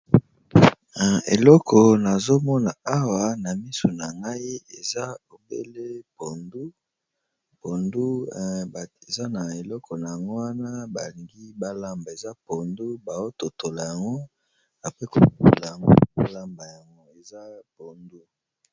Eleko na zomona awa na miso na ngai, eza obele pondu. Eza na eleko na yango, wana balingi balamba. Eza pondu bazo totola yango apre kototola yango, bolamba yango. Eza pondu.